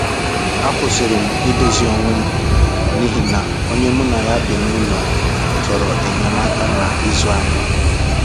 A kwụsịrị m idozi onwe m n’ihi na onye mu na na ya bi n'ụlọ chọrọ enyemaka na ịzụ ahịa